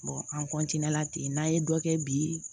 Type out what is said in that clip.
an la ten n'an ye dɔ kɛ bi